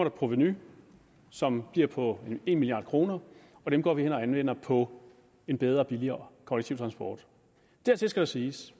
et provenu som bliver på en milliard kr og det går vi hen og anvender på en bedre og billigere kollektiv transport dertil skal siges